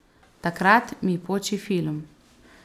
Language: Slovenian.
Takrat mi poči film ...